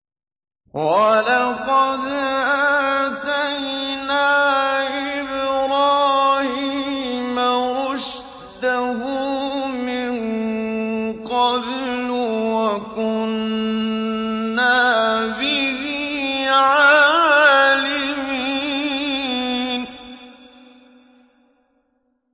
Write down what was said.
۞ وَلَقَدْ آتَيْنَا إِبْرَاهِيمَ رُشْدَهُ مِن قَبْلُ وَكُنَّا بِهِ عَالِمِينَ